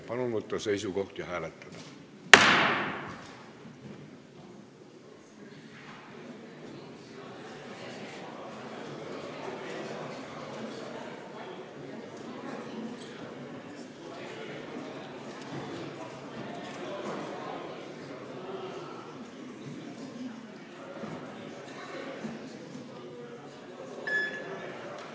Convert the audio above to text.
Palun võtta seisukoht ja hääletada!